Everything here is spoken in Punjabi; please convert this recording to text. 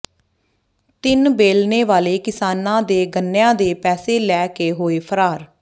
ਤਿੰਨ ਬੇਲਣੇ ਵਾਲੇ ਕਿਸਾਨਾਂ ਦੇ ਗੰਨਿਆਂ ਦੇ ਪੈਸੇ ਲੈ ਕੇ ਹੋਏ ਫਰਾਰ